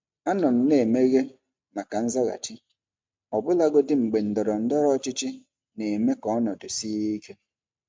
Anọ m na-emeghe maka nzaghachi, ọbụlagodi mgbe ndọrọ ndọrọ ọchịchị na-eme ka ọnọdụ sie ike.